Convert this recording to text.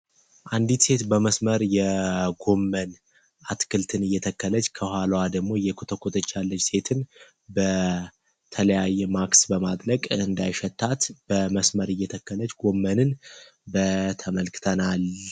አንዲት ሴት በመስመር የጎመን አትክልትን እየተከለች ከኋሏዋ ደግሞ እየኮተኮተች ያለች ሴትን በተለያየ ማክስ በማጥለቅ እንዳይሸታት በመስመር እየተከለጅ ጎመንን ተመልክተናል።